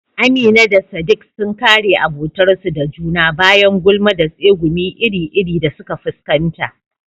Amina da sadik sun kare abotarsu da juna bayan gulma da tsegumi iri-iri da suka fuskanta